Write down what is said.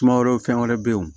Sumaworo fɛn wɛrɛ be yen wo